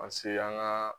Paseke an ka